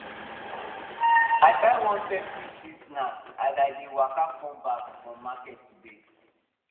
i buy one peppery street snack as i dey waka come back from market today